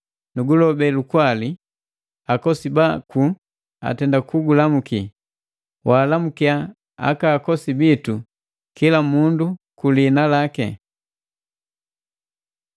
Nugulobe lukwali. Akosi baku atenda kugulamuki, waalamukiya akakosi bitu, kila mundu kuliina laki.